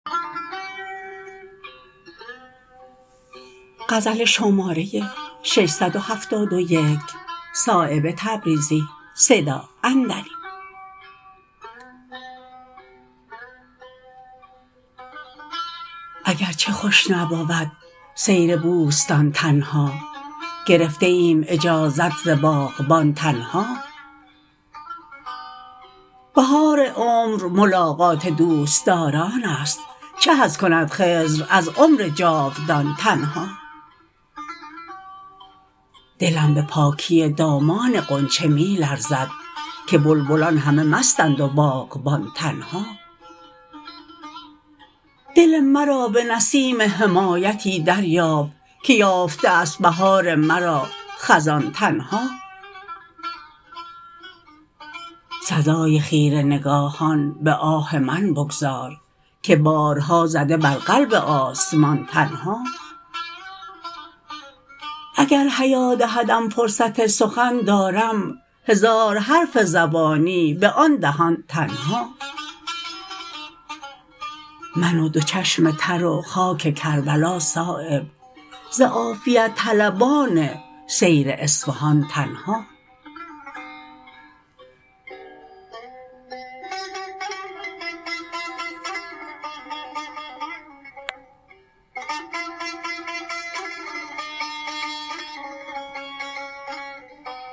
اگر چه خوش نبود سیر بوستان تنها گرفته ایم اجازت ز باغبان تنها بهار عمر ملاقات دوستداران است چه حظ کند خضر از عمر جاودان تنها دلم به پاکی دامان غنچه می لرزد که بلبلان همه مستند و باغبان تنها دل مرا به نسیم حمایتی دریاب که یافته است بهار مرا خزان تنها سزای خیره نگاهان به آه من بگذار که بارها زده بر قلب آسمان تنها اگر حیا دهدم فرصت سخن دارم هزار حرف زبانی به آن دهان تنها من و دو چشم تر و خاک کربلا صایب ز عافیت طلبان سیر اصفهان تنها